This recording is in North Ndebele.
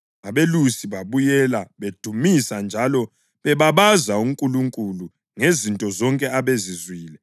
Abelusi babuyela, bedumisa njalo bebabaza uNkulunkulu ngezinto zonke ababezizwile njalo bazibona, zaba yikho kanye ababekutsheliwe.